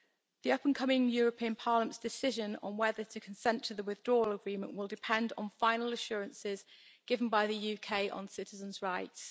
The upcoming European Parliament decision on whether to consent to the withdrawal agreement will depend on final assurances given by the UK on citizens' rights.